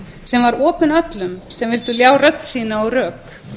sem var opið öllum sem vildu ljá rödd sína og rök